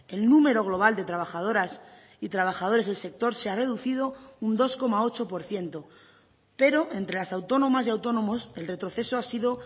el número global de trabajadoras y trabajadores del sector se ha reducido un dos coma ocho por ciento pero entre las autónomas y autónomos el retroceso ha sido